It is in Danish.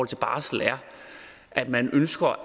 til barsel er at man ønsker